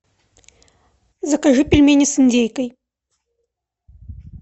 закажи пельмени с индейкой